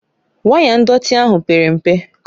Waya ndọtị ahụ pere mpe